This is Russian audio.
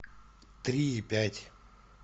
три и пять